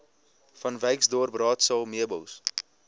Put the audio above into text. vanwyksdorp raadsaal meubels